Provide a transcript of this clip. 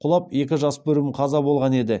құлап екі жас өспірім қаза болған еді